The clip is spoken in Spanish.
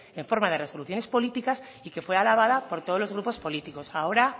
en forma de instrucciones políticas y que fuera alabada por todos los grupos políticos ahora